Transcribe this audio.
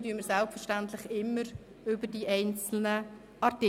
Abstimmen werden wir selbstverständlich immer über die einzelnen Artikel.